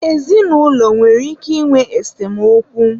ezinụlọ nwere ike ịnwe esemokwu.